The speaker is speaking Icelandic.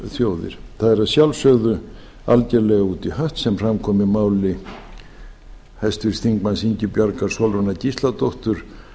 er að sjálfsögðu algjörlega út í hött sem fram kom í máli háttvirts þingmanns ingibjargar sólrúnar gísladóttur